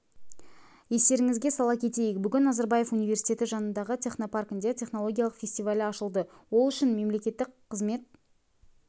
естеріңізге сала кетейік бүгін назарбаев университеті жанындағы технопаркінде технологиялық фестивалі ашылды ол үшін үшін мемлекеттік қызмет